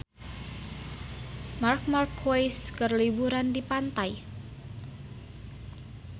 Marc Marquez keur liburan di pantai